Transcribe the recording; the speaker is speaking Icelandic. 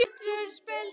Örn stóð upp.